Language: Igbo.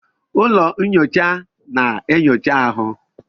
Ụlọ nnyocha na-enyocha ahụ.